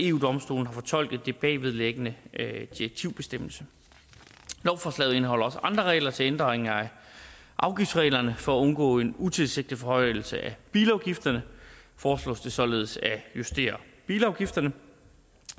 eu domstolen har fortolket den bagvedliggende direktivbestemmelse lovforslaget indeholder også andre regler til ændringer af afgiftsreglerne for at undgå en utilsigtet forhøjelse af bilafgifterne foreslås det således at justere bilafgifterne